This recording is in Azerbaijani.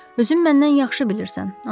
Özün məndən yaxşı bilirsən,